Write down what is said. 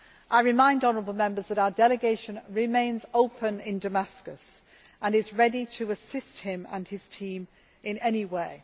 us. I remind honourable Members that our delegation remains open in Damascus and is ready to assist him and his team in any way.